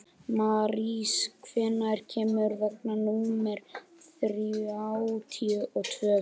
Marísa, hvenær kemur vagn númer þrjátíu og tvö?